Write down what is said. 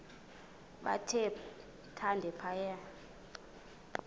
bathe thande phaya